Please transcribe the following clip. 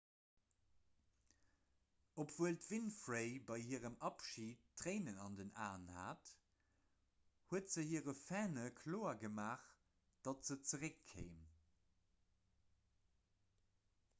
obwuel d'winfrey bei hirem abschid tréinen an den aen hat huet se hire fanne kloer gemaach datt se zeréckkéim